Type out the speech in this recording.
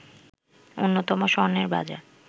অন্যতম স্বর্ণের বাজার